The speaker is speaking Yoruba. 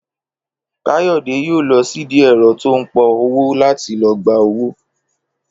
Káyò̩dé yóò lo̩ sídìí è̩ro̩ tó ń po̩wó láti lo̩ gba owó